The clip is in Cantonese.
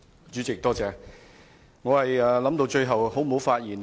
主席，我一直考慮是否要發言。